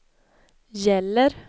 gäller